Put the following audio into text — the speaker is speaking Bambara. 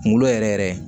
Kunkolo yɛrɛ yɛrɛ